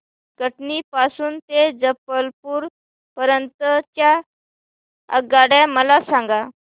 कटनी पासून ते जबलपूर पर्यंत च्या आगगाड्या मला सांगा